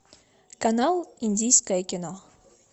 канал индийское кино